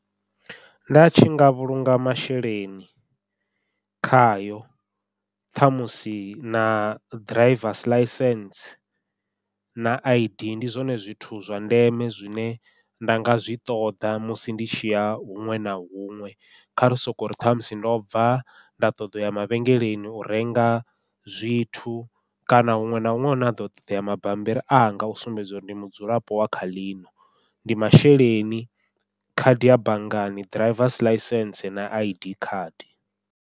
Nda tshi nga vhulunga masheleni khayo, ṱhamusi na drivers ḽaisentse na I_D ndi zwone zwithu zwa ndeme zwine nda nga zwi ṱoḓa musi ndi tshi ya huṅwe na huṅwe, kha ri sokori ṱhamusi ndo bva nda ṱoḓa uya mavhengeleni u renga zwithu kana huṅwe na huṅwe hune ha ḓo ṱoḓea mabambiri anga u sumbedza uri ndi mudzulapo wa kha ḽino, ndi masheleni khadi ya banngani drivers ḽaisentse na I_D card.